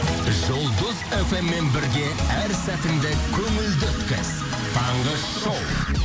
жұлдыз фм мен бірге әр сәтінді көңілді өткіз таңғы шоу